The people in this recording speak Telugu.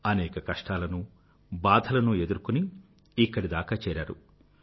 అనేక కష్టాలనూ బాధలనూ ఎదుర్కొని ఇక్కడి దాకా చేరారు